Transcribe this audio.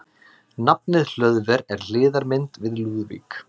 Nafnið Hlöðver er hliðarmynd við Lúðvík.